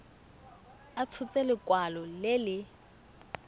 a tshotse lekwalo le le